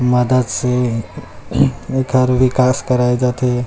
मदद से एकर विकाश कराए जात हे।